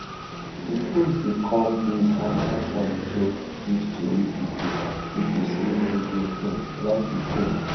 di post dey come days afta trump joke give tori pipo pipo say e go um like be pope